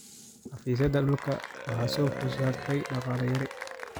Xafiisyada dhulka waxa soo food saartay dhaqaale yari.